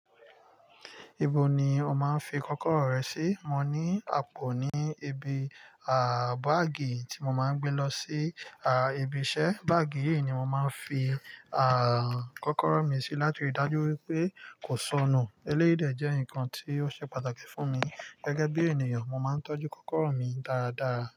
Ibo ni o máa ń fi kọ́kọ́rọ́ rẹ sí? Mo ní àpò ní ibí, à, báàgì tí mo máa ń gbé lọ sí, à, ibi iṣẹ́. Báàgì yìí ni mo máa ń fi, à, kọ́kọ́rọ́ mi sí láti rí i dájú wípé kò sọnù. Eléyìí dẹ̀ jẹ́ nǹkan tí ó ṣe pàtàkì fún mi. Gẹ́gẹ́ bí ènìyàn, mo máa ń tọ́jú kọ́kọ́rọ́ mi dáradára.